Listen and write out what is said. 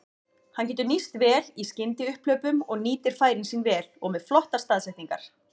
Hann getur nýst vel í skyndiupphlaupum og nýtir færin sín vel og með flottar staðsetningar.